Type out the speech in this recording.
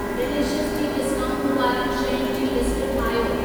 Delicious जी discount वारियुनि शयुनि जी लिस्ट ठाहियो।